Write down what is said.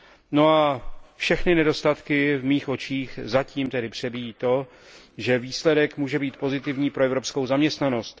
No a všechny nedostatky v mých očích zatím tedy přebíjí to, že výsledek může být pozitivní pro evropskou zaměstnanost.